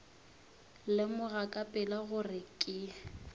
lemoga ka pela gore ke